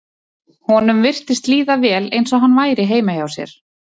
Honum virtist líða vel eins og hann væri heima hjá sér.